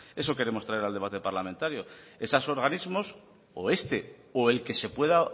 eso queremos traer al debate parlamentario esos organismos o este o el que se pueda